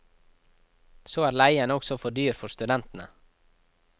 Så er leien også for dyr for studentene.